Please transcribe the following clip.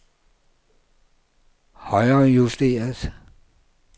højrejusteret